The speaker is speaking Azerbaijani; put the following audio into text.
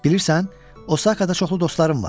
Bilirən, Osakada çoxlu dostlarım var.